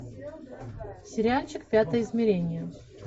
сериальчик пятое измерение